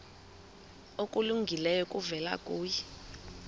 okulungileyo kuvela kuye